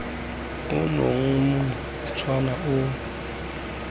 ono o montšhwa o tlaleletsa